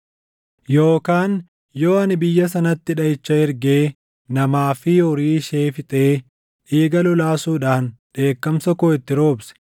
“Yookaan yoo ani biyya sanatti dhaʼicha ergee namaa fi horii ishee fixee dhiiga lolaasuudhaan dheekkamsa koo itti roobse,